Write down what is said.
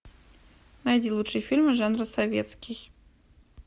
найди лучшие фильмы жанра советский